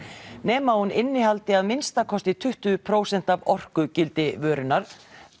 nema hún innihaldi að minnsta kosti tuttugu prósent af orkugildi vörunnar